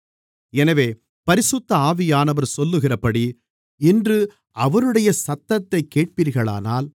எனவே பரிசுத்த ஆவியானவர் சொல்லுகிறபடி இன்று அவருடைய சத்தத்தைக் கேட்பீர்களானால்